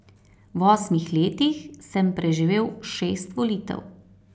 V osmih letih sem preživel šest volitev.